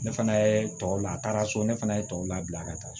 Ne fana ye tɔw la taara so ne fana ye tɔw labila ka taa